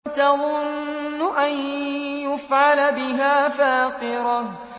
تَظُنُّ أَن يُفْعَلَ بِهَا فَاقِرَةٌ